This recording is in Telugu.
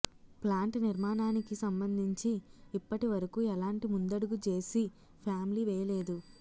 ప్లాంట్ నిర్మాణానికి సంబంధించి ఇప్పటి వరకూ ఎలాంటి ముందడుగూ జేసీ ఫ్యామిలీ వేయలేదు